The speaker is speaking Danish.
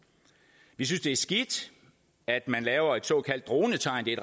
vi synes det er skidt at man laver et såkaldt dronetegn det